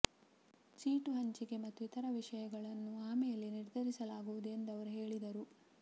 seat ಹಂಚಿಕೆ ಮತ್ತು ಇತರ ವಿಷಯಗಳನ್ನು ಆಮೇಲೆ ನಿರ್ಧರಿಸಲಾಗುವುದು ಎಂದು ಅವರು ಹೇಳಿದರು